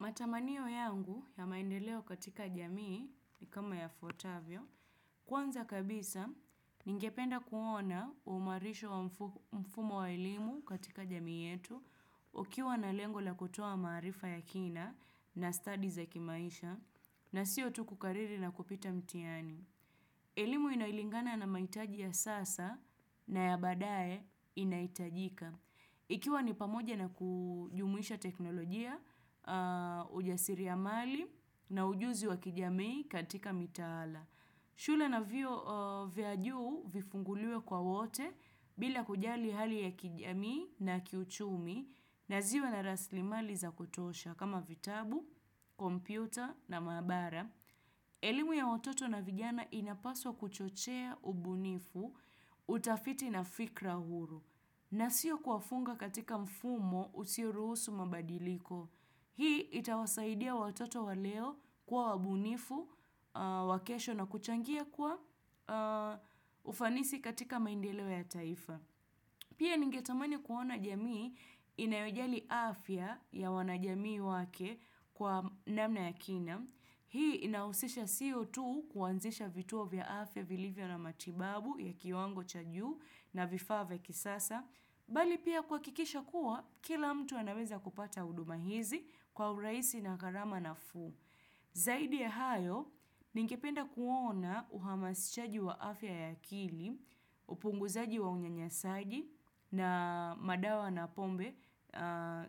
Matamanio yangu ya maendeleo katika jamii ni kama yafuatavyo, kwanza kabisa ningependa kuona uimarisho wa mfumo wa elimu katika jamii yetu, ukiwa na lengo la kutoa maarifa ya kina na stadi za kimaisha, na sio tu kukariri na kupita mtihani. Elimu inayolingana na mahitaji ya sasa na ya baadaye inahitajika. Ikiwa ni pamoja na kujumuisha teknolojia, ujasiri ya mali na ujuzi wa kijamii katika mitaala. Shule na vyuo vya juu vifunguliwe kwa wote, bila kujali hali ya kijamii na kiuchumi na ziwe na rasilimali za kutosha kama vitabu, kompyuta na maabara. Elimu ya watoto na vijana inapaswa kuchochea ubunifu, utafiti na fikra huru na sio kuwafunga katika mfumo usioruhusu mabadiliko. Hii itawasaidia watoto wa leo kuwa wabunifu, wa kesho na kuchangia kwa ufanisi katika maendeleo ya taifa. Pia ningetamani kuona jamii inayojali afya ya wanajamii wake kwa namna ya kina. Hii inahusisha sio tu kuanzisha vituo vya afya vilivyo na matibabu ya kiwango cha juu na vifaa vya kisasa. Bali pia kuhakikisha kuwa, kila mtu anaweza kupata huduma hizi kwa urahisi na gharama nafuu. Zaidi ya hayo, ningependa kuona uhamasishaji wa afya ya akili, upunguzaji wa unyanyasaji na madawa na pombe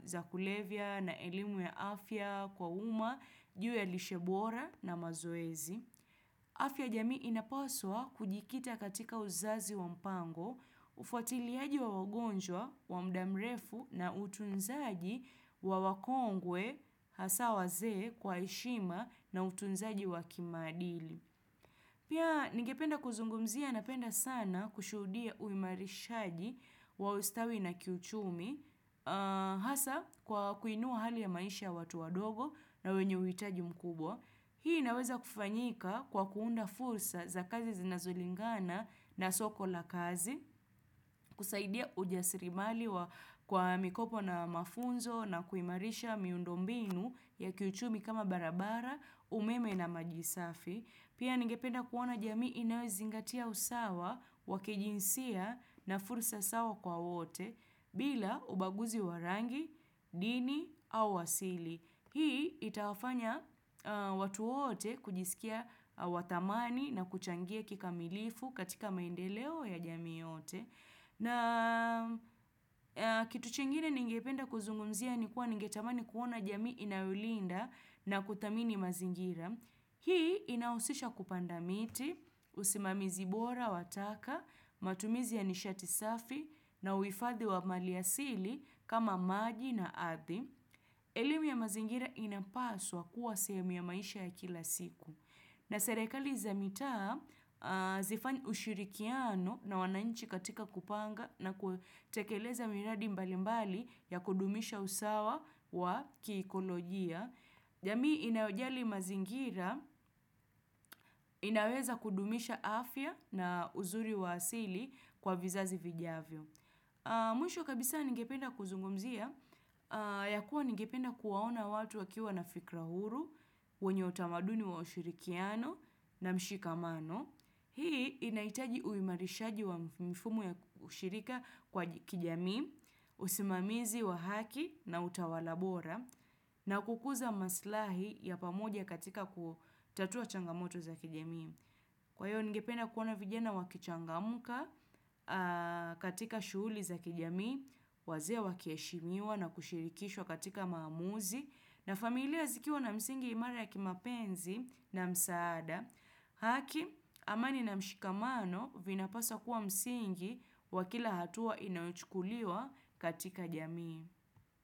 za kulevya na elimu ya afya kwa umma, juu ya lishe bora na mazoezi. Afya ya jamii inapaswa kujikita katika uzazi wa mpango, ufuatiliaji wa wagonjwa, wa muda mrefu na utunzaji wa wakongwe, hasa wazee, kwa heshima na utunzaji wa kimaadili. Pia ningependa kuzungumzia napenda sana kushuhudia uimarishaji wa ustawi na kiuchumi, hasa kwa kuinua hali ya maisha ya watu wadogo na wenye uhitaji mkubwa. Hii inaweza kufanyika kwa kuunda fursa za kazi zinazolingana na soko la kazi, kusaidia ujasirimali kwa mikopo na mafunzo na kuimarisha miundo mbinu ya kiuchumi kama barabara, umeme na maji safi. Pia ningependa kuona jamii inayozingatia usawa, wa kijinsia na fursa sawa kwa wote bila ubaguzi wa rangi, dini au asili. Hii itawafanya watu wote kujisikia wa dhamani na kuchangia kikamilifu katika maendeleo ya jamii yote. Na kitu chingine ningependa kuzungumzia ni kuwa ningetamani kuona jamii inayolinda na kuthamini mazingira. Hii inahusisha kupanda miti, usimamizi bora wa taka, matumizi ya nishati safi, na uhifadhi wa maliasili kama maji na ardhi. Elimu ya mazingira inapaswa kuwa sehemu ya maisha ya kila siku. Na serekali za mitaa zifanye ushirikiano na wananchi katika kupanga na kutekeleza miradi mbalimbali ya kudumisha usawa wa kiekolojia. Jamii inayojali mazingira, inaweza kudumisha afya na uzuri wa asili kwa vizazi vijavyo. Mwisho kabisa ningependa kuzungumzia, ya kuwa ningependa kuwaona watu wakiwa na fikra huru, wenye utamaduni wa ushirikiano na mshikamano. Hii inahitaji uimarishaji wa mifumo ya ushirika kwa kijamii, usimamizi wa haki na utawala bora, na kukuza maslahi ya pamoja katika kutatua changamoto za kijamii. Kwa hivyo, ningependa kuona vijana wakichangamka katika shughuli za kijamii, wazee wakiheshimiwa na kushirikishwa katika maamuzi, na familia zikiwa na msingi imara ya kimapenzi na msaada. Haki, amani na mshikamano, vinapaswa kuwa msingi wa kila hatua inayochukuliwa katika jamii.